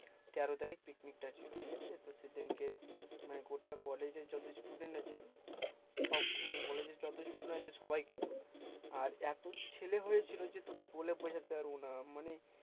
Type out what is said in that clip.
তেরো তারিখ picnic টা ছিল ঠিক আছে সেই দিনকে মানে গোটা college এ যত student আছে সব মানে college এর যত student আছে সবাই কিন্তু আর এত ছেলে হয়েছিল যে তোকে বলে বুঝাতে পারব না মানে